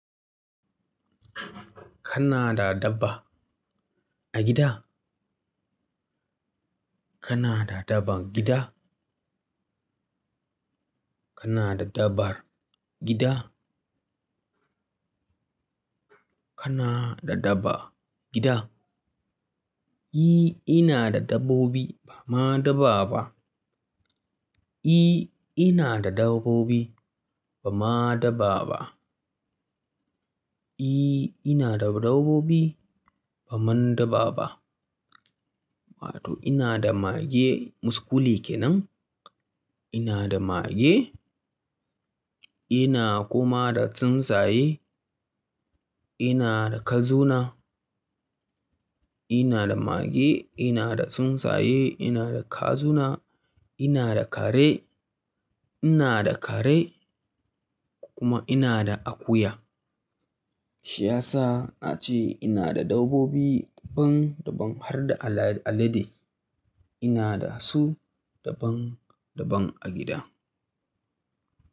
Kana da dabba a gida? Kana da daban gida? Kana da dabar gida? Kana da dabba gida? E, ina da dabbobi bama dabba ba. E, ina da dabbobi bama dabba ba. E, ina da dabbobi baman dabba ba. Wato ina da mage muskule kenan. Ina da mage, ina kuma da tsuntsaye, ina da kazuna. Ina da mage, ina da tsuntsaye, ina da kazuna, ina da kare, ina da kare kuma ina da akuya. Shi ya sa na ce ina da dabbobi daban daban har da alede ina da su daban daban a gida.